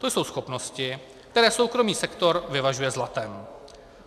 To jsou schopnosti, které soukromý sektor vyvažuje zlatem.